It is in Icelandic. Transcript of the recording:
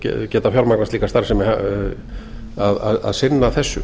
geta fjármagnað slíka starfsemi að sinna þessu